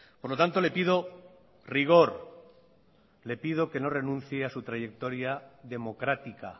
por lo tanto le pido rigor le pido que no renuncie a su trayectoria democrática